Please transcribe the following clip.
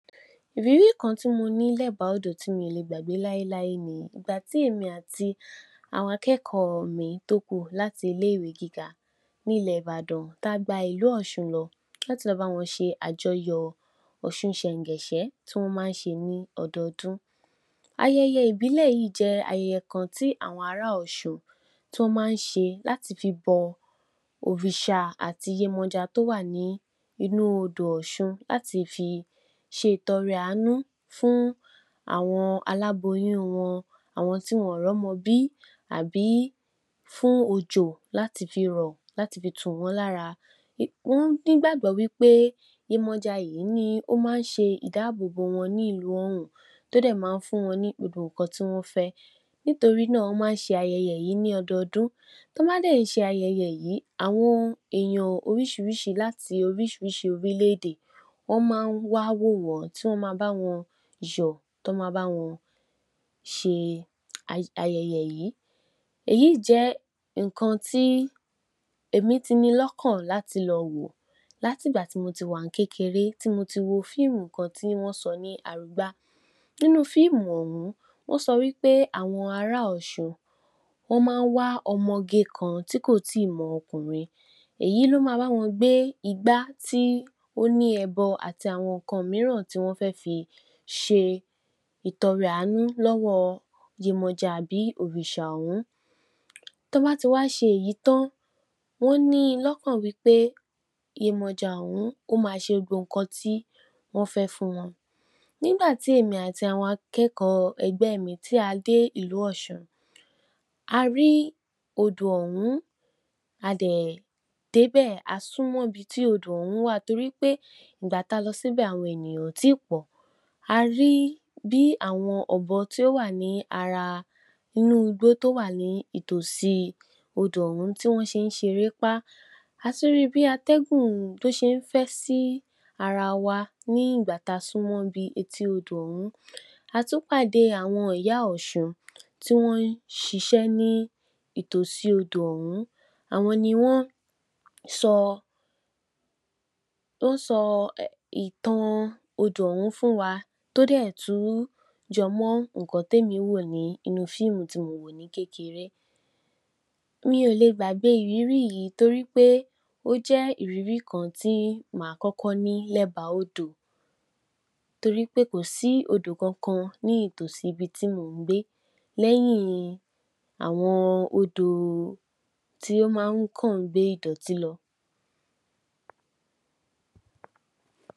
Ìrírí kan tí mo ní lẹ́bá-odò tí mi ǹ le gbàgbé láyé láyé ni ìgbà tí èmí àti àwọn akẹ́kọ́ mi tó kù láti ilé ìwé gíga ilẹ̀ Ìbàdàn ta gba ìlú Ọ̀ṣun lọ láti lọ bá wọn ṣe àjọyọ̀ Ọ̀sun ṣẹ̀ǹgẹ̀ṣẹ́ tí wọ́n ma ń ṣe ní ọdọọdún. Ayẹyẹ ìbílẹ̀ yíì jẹ́ ayẹyẹ kan tí àwọn ara Ọ̀ṣun tí wọ́n ma ń ṣe láti fi bọ òrìṣà àti yẹmọja tó wà ní inú odò Ọṣun láti fi ṣe ìtọrẹ àánú fún àwọn aláboyún un wọn, àwọn tí wọn ò rọ́mọ bí àbí fún òjò láti fi rò láti fi tù wọ́n lára. Wọ́n nígbàgbọ́ wí pé yemọja yìí ní ó ma ń ṣe ìdáàbò bò wọn ní ìlú ọ̀hún tó dẹ̀ ma ń fún wọn ní gbogbo ǹkan tí wọ́n ń fẹ́ nítorí náà wọ́n ma ń ṣe ayẹyẹ yìih ní ọdọọdún tí wọ́n bá dẹ̀ ń ṣe ayẹyẹ yìí àwọn èèyàn oríṣiríṣi láti oríṣiríṣi orílẹ̀-èdè wọ́n má ń wá wò wọ́n tí wọ́n ma bá wọn yọ̀ t’ọ́n ma bá wọn ṣe ayẹyẹ yìí. Èyí ìí jẹ́ ǹkan tí èmí ti ní lọ́kàn láti lọ wò látì gbà tí mo ti wà ń kékeré tí mo ti wo fíìmù kan tí wọ́n sọ ní ‘’Arugba’’. Inú fíìmù ọ̀hún wọ́n sọ pé àwọn ará Ọ̀ṣun wọ́n má ń wá ọmọge kan tí kò tí ì mọ ọkùnrin èyí ló máa bá wọn gbé igbá ti ó ní ẹbọ àti àwọn ǹkan mìíràn tí wọ́n fẹ́ fi ṣe ìtọrẹ àánú lọ́wọ́ yẹmọja àbí òrìṣà ọ̀hún t’ọ́n bá ti wá ṣe èyí tán wọ́n ní i lọ́kàn wí pé yemọja ọ̀hún ó máa ṣe gbogbo ǹkan tí wọ́n fẹ́ fún wọn. Nígbà tí èmi àti àwọn akẹ́kọ̀ọ́ ẹgbẹ́ mi tí a dé ìlú ọ̀sun a rí odò ọ̀hún a dẹ̀ débẹ̀ a súnmọ́ ibi tí odò ọ̀hún wà torí pé ìgbà ta lọ síbẹ̀ àwọn ènìyàn ò tí ì pọ̀ èèyàn ò tí ì pọ̀; a rí bí àwọn ọ̀bọ tí ó wà ní ara inú igbó tó wà ní ìtòsí i odò ọ̀hún tí wọ́n ṣe ń ṣ’erépá a tún rí bí atẹ́gùn tó ṣe ń fẹ́ sí ara wa ní ìgbà tí a súmọ́ ibi etí odò ọ̀hún a tún pàdé àwọn ìyá Ọ̀ṣun tí wọ́n ń ṣiṣẹ́ ní ìtòsí odò ọ̀hún àwọn ni wọ́n sọ ó sọ um ìtàn odò ọ̀hún fún wa tó dẹ̀ tún jọ mọ́ ǹkan témí wò ní inú u fíìmù tí mo wò ní kékeré. Mi ò le gbàgbá ìrírí yìí torí pé ó jẹ́ ìrírí kan tí màá kọ́kọ́ ní lẹ́bàá odò torí pé kò sí odò kankan ní ìtòsí ibi tí mò ń gbé lẹ́yìn àwọn odò tí ó ma ń kàn ń gbé ìdọ̀tí lọ